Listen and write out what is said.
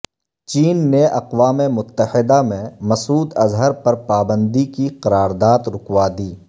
چین نے اقوام متحدہ میں مسعود اظہر پر پابندی کی قرارداد رکوا دی